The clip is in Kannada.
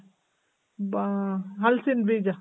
ಬಾ, ಹಲಸಿನ್ ಬೀಜ.